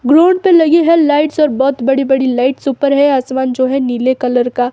ground पर लगी है लाइट्स और बहोत बड़ी-बड़ी लाइट्स ऊपर है आसमान जो है नीले कलर का --